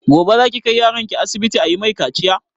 Gobe za ki kai yaron ki asibiti ayi mai kaciya?